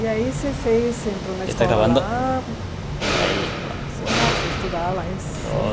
E aí, você fez você entrou na escola lá eh, você começou a estudar lá em São